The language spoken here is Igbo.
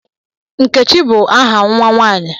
Nkechi bụ aha nwa nwaanyị.